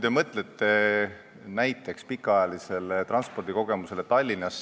Mõelge näiteks pikaajalisele transpordikogemusele Tallinnas.